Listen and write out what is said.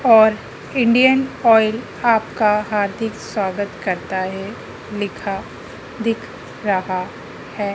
और इंडियन ऑयल आपका हार्दिक स्वागत करता है लिखा दिख रहा है।